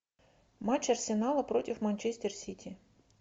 матч арсенала против манчестер сити